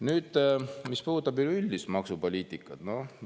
Nüüd, mis puudutab üleüldist maksupoliitikat?